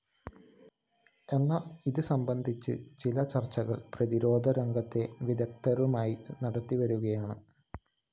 എന്നാല്‍ ഇതുസംബന്ധിച്ച ചില ചര്‍ച്ചകള്‍ പ്രതിരോധ രംഗത്തെ വിദഗ്ധരുമായി നടത്തിവരികയാണ്